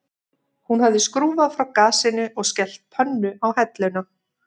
Hún hafði skrúfað frá gasinu og skellt pönnu á helluna